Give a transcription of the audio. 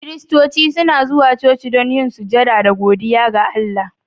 Kiristoci suna zuwa coci don yin sujada da godiya ga Allah.